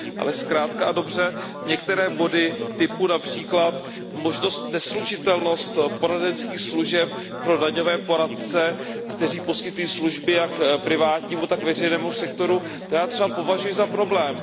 Ale zkrátka a dobře, některé body, například možnost neslučitelnosti poradenských služeb pro daňové poradce, kteří poskytují služby jak privátnímu, tak veřejnému sektoru, já třeba považuji za problém.